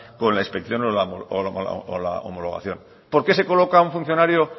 con la inspección o la homologación por qué se coloca un funcionario